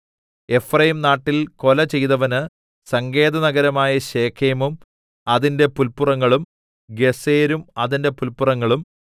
എഫ്രയീംനാട്ടിൽ കൊല ചെയ്തവന് സങ്കേതനഗരമായ ശെഖേമും അതിന്റെ പുല്പുറങ്ങളും ഗേസെരും അതിന്റെ പുല്പുറങ്ങളും